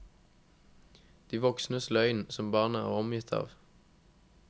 De voksnes løgn, som barnet er omgitt av.